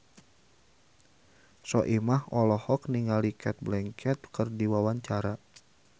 Soimah olohok ningali Cate Blanchett keur diwawancara